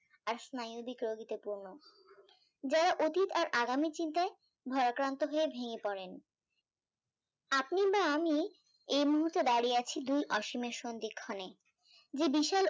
আর স্ন্যায়দিক রোগীদের জন যারা অতিক আর আগামীর চিন্তায় ভয়াক্রান্ত হয়ে ভেঙে পড়েন আপনি বা আমি এই মুহূর্তে দাঁড়িয়ে আছি দুই অসীমের সন্ধিক্ষণে যে বিশাল